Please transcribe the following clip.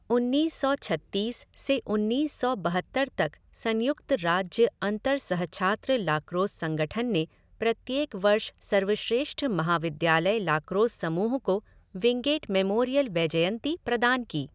उन्नीस सौ छत्तीस से उन्नीस सौ बहत्तर तक संयुक्त राज्य अंतर सहछात्र लाक्रोस संगठन ने प्रत्येक वर्ष सर्वश्रेष्ठ महाविद्यालय लाक्रोस समूह को विंगेट मेमोरियल वैजयंती प्रदान की।